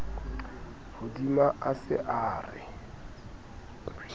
hodima a se a re